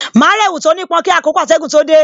Ma ra èwù tó ní pọn kí àkókò atẹgun tó dé